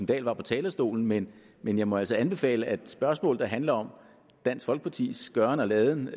dahl var på talerstolen men men jeg må altså anbefale at man spørgsmål der handler om dansk folkepartis gøren og laden